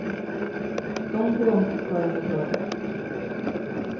Gång på gång fick paret applåder.